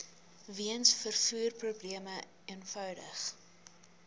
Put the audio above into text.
weens vervoerprobleme eenvoudig